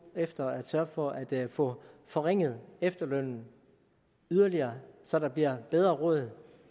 efter at sørge for at få forringet efterlønnen yderligere så der bliver bedre råd